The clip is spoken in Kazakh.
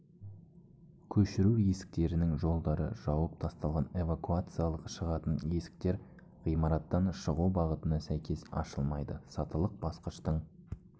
көшіру есіктерінің жолдары жауып тасталған эвакуациялық шығатын есіктер ғимараттан шығу бағытына сәйкес ашылмайды сатылық басқыштың